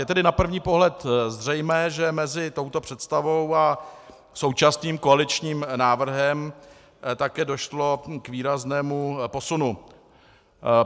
Je tedy na první pohled zřejmé, že mezi touto představou a současným koaličním návrhem také došlo k výraznému posunu.